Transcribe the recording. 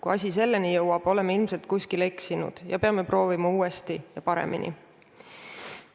Kui asi selleni jõuab, oleme ilmselt kuskil eksinud ja peame proovima uuesti ja paremini.